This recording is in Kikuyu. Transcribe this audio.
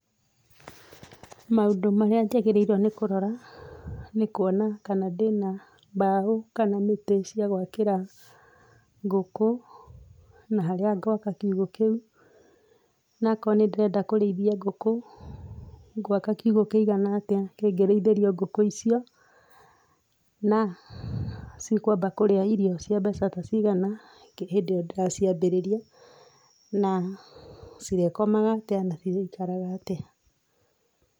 Maũndũ marĩa njagĩrĩirwo nĩ kũrora, nĩ kũona kana ndĩna mbaũ kana mĩtĩ cia gwakĩra ngũkũ, na harĩa ngwaka kiugũ kĩu, nakoo nĩ ndĩrenda kũrĩithia ngũkũ ngwaka kiugũ kĩigana atĩa na kĩngĩrĩithĩrio ngũkũ icio, na cikwamba kũrĩa irio cia mbeca ta cigana nginya hĩndĩ ĩyo ndĩraciambĩrĩria, na cirĩkomaga atĩa na cirĩikaraga atĩa.